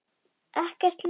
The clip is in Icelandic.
Ekkert ljós.